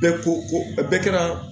Bɛɛ ko ko bɛɛ kɛra